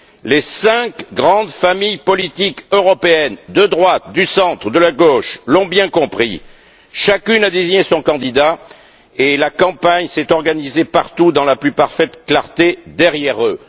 Les cinq grandes familles politiques européennes, de droite, du centre et de la gauche, l'ont bien compris chacune a désigné son candidat et la campagne s'est organisée partout, dans la plus parfaite clarté, derrière eux.